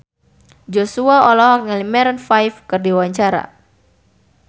Joshua olohok ningali Maroon 5 keur diwawancara